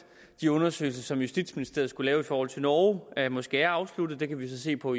de undersøgelser som justitsministeriet skulle lave i forhold til norge måske er afsluttet det kan vi så se på